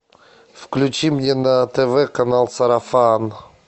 включи мне на тв канал сарафан